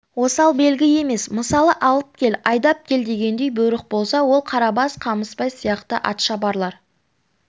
осал белгі емес мысалы алып кел айдап кел дегендей бұйрық болса ол қарабас қамысбай сияқты атшабарлар